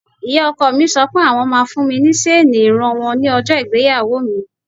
Ìyá ọkọ mi sọ pé àwọn ma fún mi ní ṣeni ìran wọn ní ọjọ́ ìgbéyàwó mi.